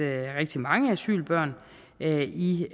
rigtig mange asylbørn i